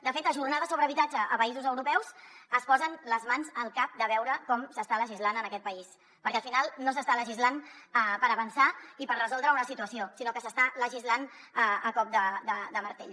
de fet a jornades sobre habitatge a països europeus es posen les mans al cap de veure com s’està legislant en aquest país perquè al final no s’està legislant per avançar i per resoldre una situació sinó que s’està legislant a cop de martell